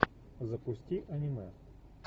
запусти аниме